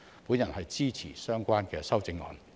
我支持相關修正案。